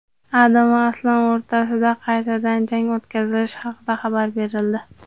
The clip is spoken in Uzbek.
Adam va Aslan o‘rtasida qaytadan jang o‘tkazilishi haqida xabar berildi.